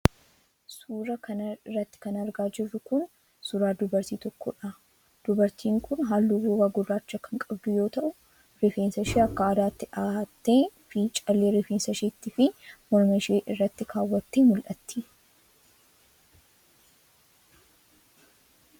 Suura kana irratti kan argaa jirru kun ,suura dubartii tokkoodha. Dubartiin kun haalluu gogaa gurraacha kan qabdu yoo ta'u, rifeensa ishee akka aadaatti dhahattee fi callee rifeensa isheetti fi morma ishee irratti kaawwattee mul'atti.